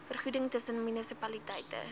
vergoeding tussen munisipaliteite